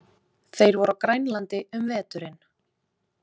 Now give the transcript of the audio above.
Þeir voru á Grænlandi um veturinn.